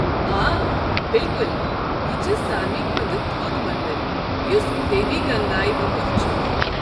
آ، بِلكُل، یہِ چھ ساروٕے کھۄتہٕ تھوٚد مندر یُس دیوی گنگایہ وقف چھُ۔